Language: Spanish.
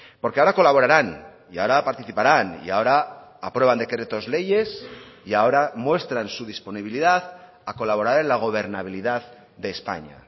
porque ahora colaborarán y ahora participarán y ahora aprueban decretos leyes y ahora muestran su disponibilidad a colaborar en la gobernabilidad de españa